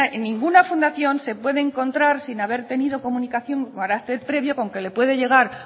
ninguna fundación se puede encontrar sin haber tenido comunicación con carácter previo con que le puede llegar